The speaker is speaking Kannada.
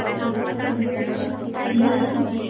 ಅದೇ ಆ ದೋಸೆ